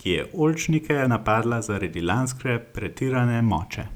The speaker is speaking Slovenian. ki je oljčnike napadla zaradi lanske pretirane moče.